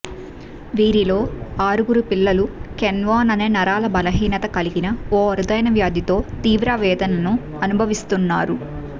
వీరిలో ఆరుగురు పిల్లలు కెనవాన్ అనే నరాల బలహీనత కలిగిన ఓ అరుదైన వ్యాధితో తీవ్ర వేదనను అనుభవిస్తున్నారు